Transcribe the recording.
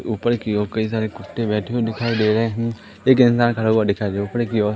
ऊपर की ओर कई सारे कुत्ते बैठे हुए दिखाई दे रहे हैं एक इंसान खड़ा हुआ दिखाई दे रहा है ऊपर की ओर--